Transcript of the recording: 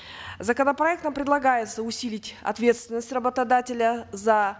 законопроектом предлагается усилить ответственность работодателя за